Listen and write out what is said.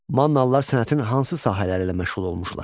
Mannalılar sənətinin hansı sahələri ilə məşğul olmuşlar?